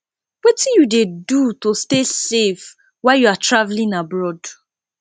wetin you dey do to stay safe while you are traveling abroad